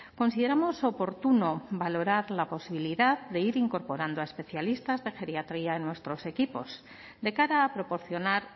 consideramos oportuno valorar la posibilidad de ir incorporando a especialistas de geriatría en nuestros equipos de cara a proporcionar